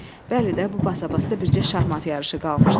Bəli də, bu basabasda bircə şahmat yarışı qalmışdı.